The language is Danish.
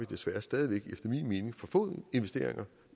desværre stadig væk for få investeringer